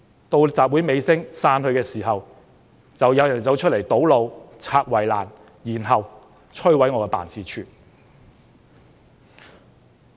到了集會尾聲，人群開始散去的時候，有人便走出來堵路、拆圍欄，然後，摧毀我的辦事處。